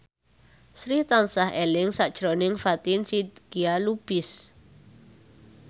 Sri tansah eling sakjroning Fatin Shidqia Lubis